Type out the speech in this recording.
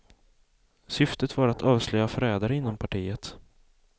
Syftet var att avslöja förrädare inom partiet.